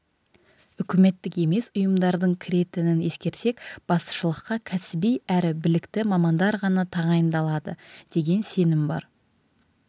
үкіметтік емес ұйымдардың кіретінін ескерсек басшылыққа кәсіби әрі білікті мамандар ғана тағайындалады деген сенім бар